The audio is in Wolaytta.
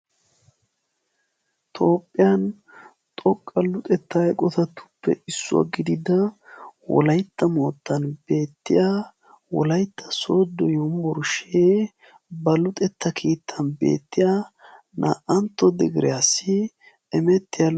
Toophiyan xoqqa luxetta eqotatuppe issuwa gidida wolaytta moottan beettiya wolaytta sooddo yunburshee ba lexetta keettan beettiya naa'antto digiriyassi imettiya....